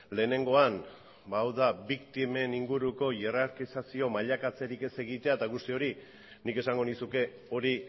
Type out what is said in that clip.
lehenengoan ba hau da biktimen inguruko jerarkizazio mailaketzarik ez egitea eta guzti hori nik esango nizuke hori